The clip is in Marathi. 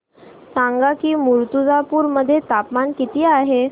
सांगा की मुर्तिजापूर मध्ये तापमान किती आहे